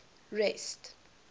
rest